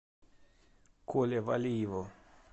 коле валиеву